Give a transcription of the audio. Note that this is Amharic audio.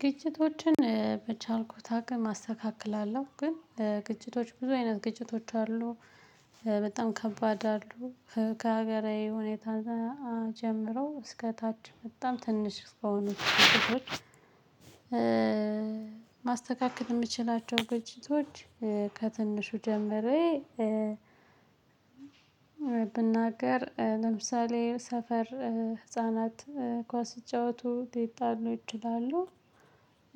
ግጭቶችን በቻልኩት አቅም አስተካክላለሁ። ግን ግጭቶች ብዙ አይነት ግጭቶች አሉ። በጣም ከባድ አሉ። ከሀገራዊ ሁኔታ ጋ ጀምሮ እስከ ታች በጣም ትንሽ ከሆኑት ግጭቶች። ማስተካከል የምችላቸው ግጭቶች ከትንሹ ጀምሬ። ብናገር ለምሳሌ ሰፈር ህፃናት ኳስ ሲጫወቱ ሊጣሉ ይችላሉ።